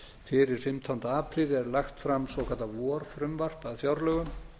fyrir fimmtánda apríl er lagt fram svokallað vorfrumvarp að fjárlögum